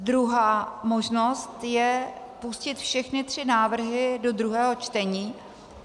Druhá možnost je pustit všechny tři návrhy do druhého čtení.